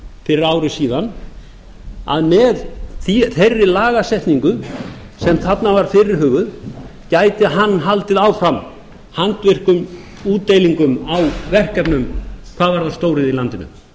fyrir ári síðan að með þeirri lagasetningu sem þarna var fyrirhuguð gæti hann haldið áfram handvirkum útdeilingum á verkefnum hvað varðaði stóriðju í